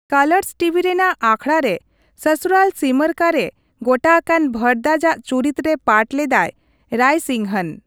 Colours TV ᱨᱮᱱᱟᱜ ᱟᱠᱷᱲᱟ ᱨᱮ ᱥᱚᱥᱩᱨᱟᱞ ᱥᱤᱢᱟᱨ ᱠᱟᱼᱨᱮ ᱜᱚᱴᱟ ᱟᱠᱟᱱ ᱵᱷᱚᱨᱫᱟᱡᱽᱼᱟᱜ ᱪᱩᱨᱤᱛ ᱨᱮ ᱯᱟᱴᱷ ᱞᱮᱫᱟᱭ ᱨᱟᱭᱥᱤᱝᱦᱚᱱ ᱾